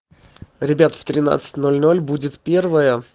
ребят в тринадцать ноль ноль будет первая